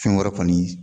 Fɛn wɛrɛ kɔni